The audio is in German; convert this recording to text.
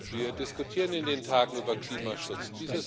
Wir diskutieren in den Tagen über Klimaschutz.